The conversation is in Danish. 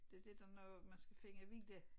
Det det der når man skal finde vilje